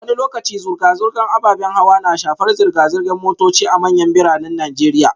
Wani lokaci zirga-zirgar ababen hawa na shafar zirga-zirgar motoci a manyan biranen Najeriya